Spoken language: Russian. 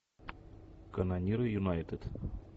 канониры юнайтед